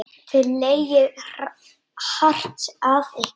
Þið leggið hart að ykkur.